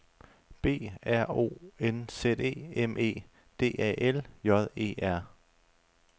B R O N Z E M E D A L J E R